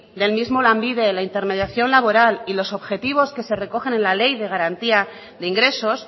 del mismo lanbide la intermediación laboral y los objetivos que se recogen en la ley de garantía de ingresos